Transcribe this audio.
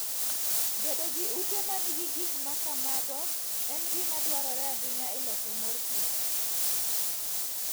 Bedo gi ute ma nigi gik ma kamago en gima dwarore ahinya e loso mor kich.